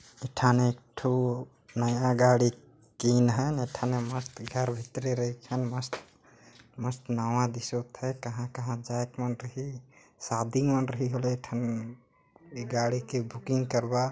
ये ठाने एक ठो नया गाड़ी किन हन ए ठाने मस्त घर भीतरे रहिथन मस्त मस्त नाव दिसोत है कहाँ-कहाँ जाएके मन रही शादी मन रहीं होले ए ठन ए गाड़ी के बुकिंग करवा--